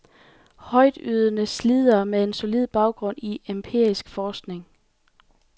Højtydende slidere med en solid baggrund i empirisk forskning.